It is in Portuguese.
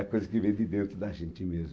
É a coisa que vem de dentro da gente mesmo.